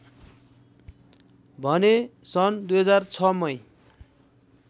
भने सन् २००६ मै